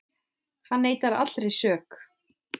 Hann neitar allri sök